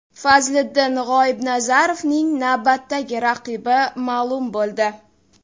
Fazliddin G‘oibnazarovning navbatdagi raqibi ma’lum bo‘ldi.